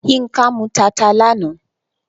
Yínká mú tata lánàá.